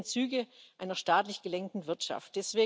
Wir sehen Züge einer staatlich gelenkten Wirtschaft.